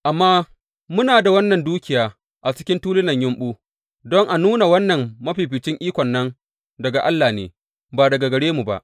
Amma muna da wannan dukiya a cikin tulunan yumɓu, don a nuna wannan mafificin ikon nan daga Allah ne, ba daga gare mu ba.